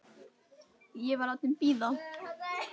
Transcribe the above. Ég var látin bíða.